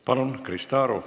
Palun, Krista Aru!